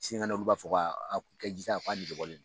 Sinikɛnɛ olu b'a fɔ ko a jita negebɔlen don